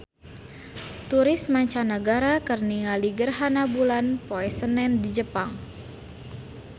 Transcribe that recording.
Turis mancanagara keur ningali gerhana bulan poe Senen di Jepang